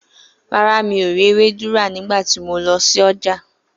Rárá, mi ò rí ewédú rà nígbà tí mọ lọ sí ọjà.